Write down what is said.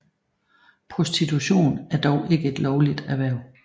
Prostitution er dog ikke et lovligt erhverv